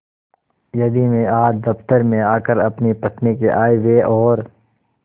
यदि मैं आज दफ्तर में आकर अपनी पत्नी के आयव्यय और